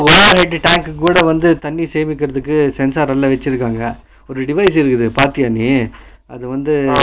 water tank க்கு கூட வந்து தண்ணி சேமபடுத்துறதுக்கு sensor எல்லா வெச்சிருக்காங்க ஒரு device இருந்தது பாத்தியா நீ